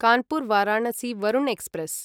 Kanpur Varanasi Varuna express